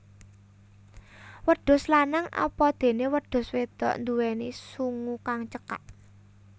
Wedhus lanang apadéné wedhus wédok nduwéni sungu kang cekak